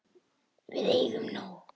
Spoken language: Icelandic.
Við eigum nóg.